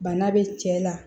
Bana be cɛ la